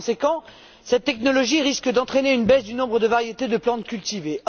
Par conséquent, cette technologie risque d'entraîner une baisse du nombre de variétés de plantes cultivées.